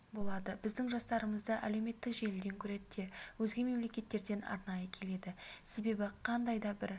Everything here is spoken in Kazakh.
болады біздің жұмыстарымызды әлеуметтік желіден көреді де өзге мемлекеттерден арнайы келеді себебі қандай да бір